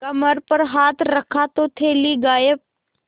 कमर पर हाथ रखा तो थैली गायब